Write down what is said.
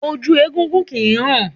Ojú egúngún kìí hàn